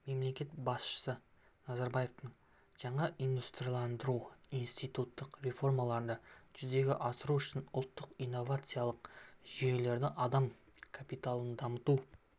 мемлекет басшысы назарбаевтың жаңа индустрияландыруды институттық реформаларды жүзеге асыру үшін ұлттық инновациялық жүйелерді адам капиталын дамыту